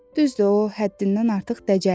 Düzdür, o həddindən artıq dəcəldir.